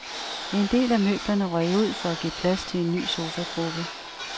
En del af møblerne røg ud for at give plads til en ny sofagruppe.